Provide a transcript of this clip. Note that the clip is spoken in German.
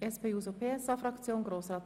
Das ist ein toller Antrag!